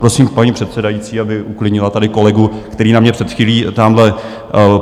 Prosím, paní předsedající, aby uklidnila tady kolegu, který na mě před chvílí tamhle...